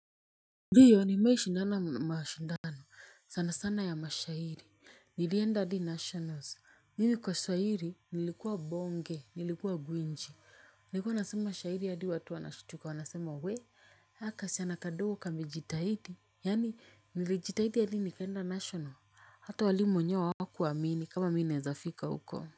Ndiyo nimai shindana mashindano sana sana ya mashahiri nilienda adi nationals mimi kwa shahiri nilikuwa bonge nilikuwa gwinji nilikuwa nasema mashahiri adi watu wanashtuka wanasema we haka kaschana kadogo kamejitahidi yani nilijitahidi adi nikaenda national hata walimu wenyewe hawakuamini kama mi neza fika uko.